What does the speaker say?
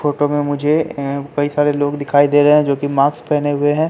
Photo में मुझे अह कई सारे लोग दिखाई दे रहे हैं जो कि मास्क पहने हुए हैं।